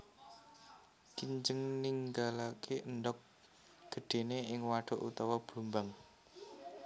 Kinjeng ninggalaké endhog gedhéné ing wadhuk utawa blumbang